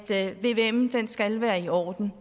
en vvm skal være i orden